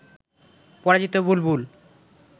পরাজিত বুলবুল